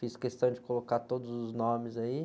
Fiz questão de colocar todos os nomes aí.